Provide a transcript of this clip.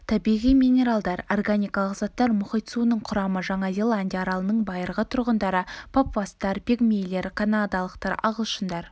табиғи минералдар органикалық заттар мұхит суының құрамы жаңа зеландия аралының байырғы тұрғындары папуастар пигмейлер канадалықтар ағылшындар